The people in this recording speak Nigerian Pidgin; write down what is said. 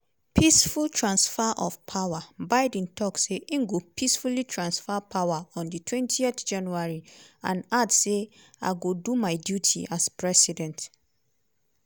peaceful transfer of power:biden tok say im go peacefully transfer power ontwentyjanuary and add say: "i go do my duty as president."